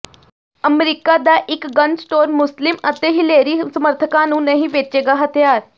America ਦਾ ਇੱਕ gun store Muslim ਅਤੇ ਹਿਲੇਰੀ ਸਮਰਥਕਾਂ ਨੂੰ ਨਹੀਂ ਵੇਚੇਗਾ ਹਥਿਆਰ